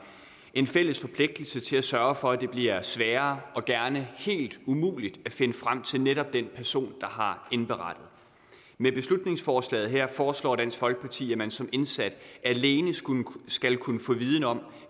en fælles forpligtelse til at sørge for at det bliver sværere og gerne helt umuligt at finde frem til netop den person der har indberettet med beslutningsforslaget her foreslår dansk folkeparti at man som indsat alene skal kunne få viden om